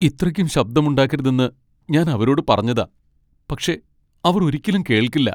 ഇത്രയ്ക്കും ശബ്ദമുണ്ടാക്കരുതെന്ന് ഞാൻ അവരോട് പറഞ്ഞതാ, പക്ഷേ അവർ ഒരിക്കലും കേൾക്കില്ല.